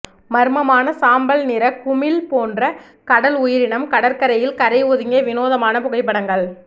மர்மமான சாம்பல் நிற குமிழ் போன்ற கடல் உயிரினம் கடற்கரையில் கரை ஒதுங்கிய வினோதமான புகைப்படங்கள்